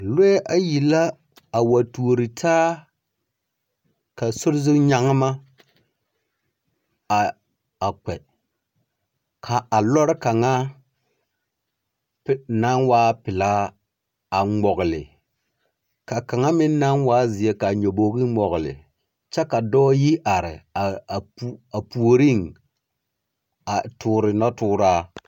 Lͻԑ ayi la a wa tuori taa ka sori zu nyagema a kpԑ. Ka a lͻre kaŋa naŋ waa pelaa a ŋmͻgele ka kaŋa meŋ naŋ waa zeԑ ka a nyobogi ŋmͻgele, kyԑ ka dͻͻ yi are a po a puoriŋ a toore nͻtooraa.